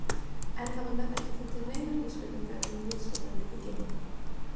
Enn hafa menn ekki fundið neinar vísbendingar um vitsmunalíf í geimnum.